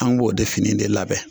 An b'o de fini de labɛn